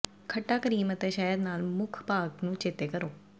ਖੱਟਾ ਕਰੀਮ ਅਤੇ ਸ਼ਹਿਦ ਨਾਲ ਮੁੱਖ ਭਾਗ ਨੂੰ ਚੇਤੇ ਕਰੋ